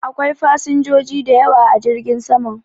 Akwai fasinjoji da yawa a jirgin saman.